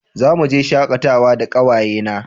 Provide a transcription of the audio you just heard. Za mu je shakatawa da kawaye na